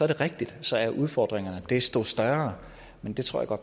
er rigtigt at så er udfordringerne desto større men det tror